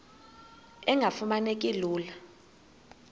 engafuma neki lula